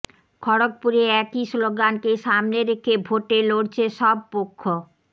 খড়্গপুরে একই স্লোগানকে সামনে রেখে ভোটে লড়ছে সব পক্ষ